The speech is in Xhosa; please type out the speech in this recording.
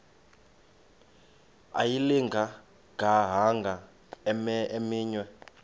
ayilinga gaahanga imenywe